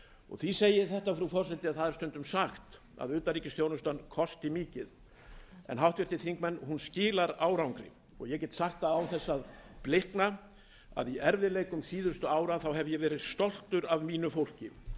því segi ég þetta frú forseti að stundum er sagt að utanríkisþjónustan kosti mikið en háttvirtir þingmenn hún skilar árangri ég get sagt það án þess að blikna að í erfiðleikum síðustu ára hef ég verið stoltur af mínu fólki